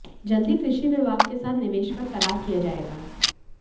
जल्द ही कृषि विभाग के साथ निवेश पर करार किया जाएगा